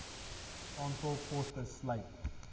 aantal poste sluit